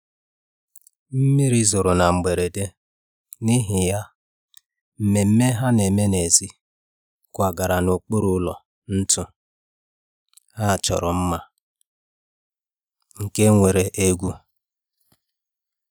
mmiri zoro na mberede, n'ihi ya, ememe a na-eme n'èzí kwagara n'okpuru ụlọ ntu a chọrọ mma nke nwere egwu